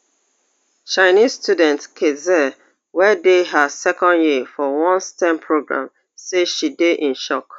chinese student kat xie wey dey her second year for one stem programme say she dey in shock